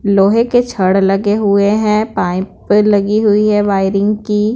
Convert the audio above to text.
लोहे के छड़ लगे हुए हैं पाइप लगी हुई है वायरिंग की---